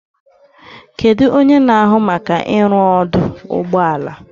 Kedu onye na-ahụ maka ịrụ ọdụ ụgbọ ala?